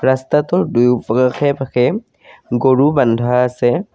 ৰাস্তাটোৰ দুয়ো প আশে পাশে গৰু বান্ধা আছে।